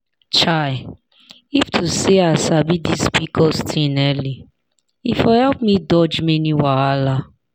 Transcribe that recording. chai if to say i sabi this pcos thing early e for help me dodge many wahala.